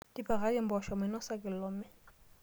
Tipikaki mboosho mainosa kilome.